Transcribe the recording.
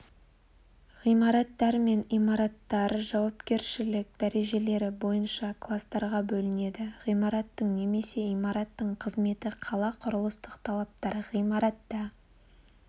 ғимараттар мен имараттар жауапкершілік дәрежелері бойынша кластарға бөлінеді ғимараттың немесе имараттың қызметі қала құрылыстық талаптар ғимаратта